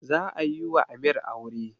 Za a yiwa amir aure